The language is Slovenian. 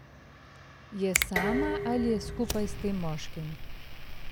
Je sama ali je skupaj s tem moškim?